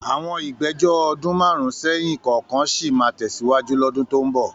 Àwọn ìgbẹ́jọ́ ọdún márùn-ún sẹ́yìn kọ̀ọ̀kan sì máa tẹ̀síwájú lọ́dún tó ń bọ̀.